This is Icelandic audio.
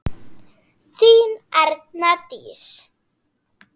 Þín Erna Dís.